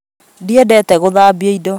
Ndiendete gũthambia indo